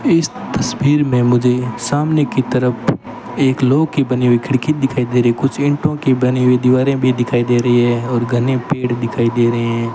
इस तस्वीर में मुझे सामने की तरफ एक लोह की बनी हुई खिड़की दिखाई दे रही कुछ ईंटों की बनी हुई दीवारें भी दिखाई दे रही है और घने पेड़ दिखाई दे रहे हैं।